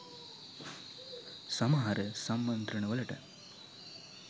සමහර සම්මන්ත්‍රණ වලට